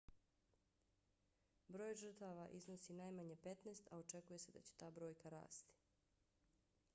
broj žrtava iznosi najmanje 15 a očekuje se da će ta brojka rasti